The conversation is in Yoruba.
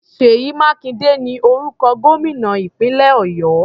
Ṣèyí Mákindé ni orúkọ gómìnà ìpínlẹ̀ Ọ̀yọ́.